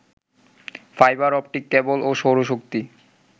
fibre optic cable ও সৌরশক্তি